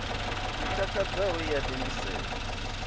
i takadzaho i a tendisea